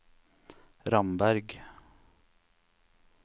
Ramberg